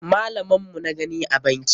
Malaman mu na gani a banki.